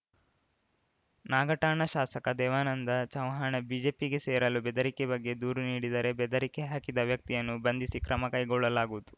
ನಾಗಠಾಣ ಶಾಸಕ ದೇವಾನಂದ ಚವ್ಹಾಣ ಬಿಜೆಪಿಗೆ ಸೇರಲು ಬೆದರಿಕೆ ಬಗ್ಗೆ ದೂರು ನೀಡಿದರೆ ಬೆದರಿಕೆ ಹಾಕಿದ ವ್ಯಕ್ತಿಯನ್ನು ಬಂಧಿಸಿ ಕ್ರಮ ಕೈಗೊಳ್ಳಲಾಗುವುದು